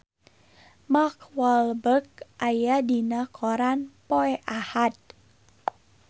Mark Walberg aya dina koran poe Ahad